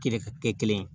Kelen ka kɛ kelen ye